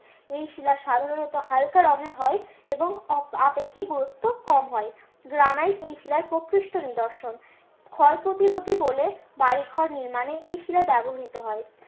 এই শিলা সাধারণত হালকা রং এর হয় এবং আপেক্ষিক গুরুত্ব কম হয়। গ্রানাইট এই শিলায় প্রকৃষ্ট নিদর্শন ক্ষয়প্রতিরোধী বলে বাড়ি ঘর নির্মাণে এই শিলা ব্যবহৃত হয়।